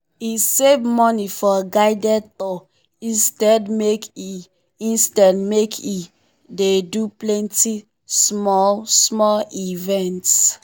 e save money for guided tour instead make e instead make e dey do plenty small-small events.